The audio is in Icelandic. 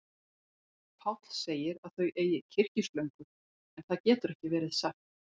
Páll segir að þau eigi kyrkislöngu, en það getur ekki verið satt.